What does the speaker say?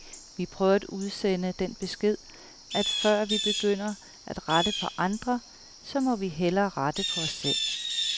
Vi prøver at udsende den besked, at før vi begynder at rette på andre, så må vi hellere rette på os selv.